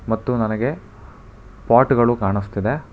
ಮತ್ತು ನನಗೆ ಪಾಟ್ ಗಳು ಕಾಣುಸ್ತಿದೆ.